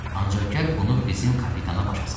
Ancaq gəl bunu bizim kapitana başa sal.